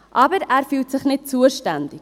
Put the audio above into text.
Aber: Er fühlt sich nicht zuständig.